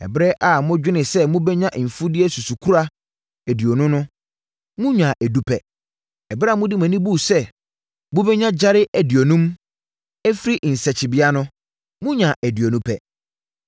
Ɛberɛ a modwene sɛ mobɛnya mfudeɛ susukora aduonu no, monyaa edu pɛ. Ɛberɛ a mode mo ani buu sɛ mobɛnya gyare aduonum afiri nsakyibea no, monyaa aduonu pɛ.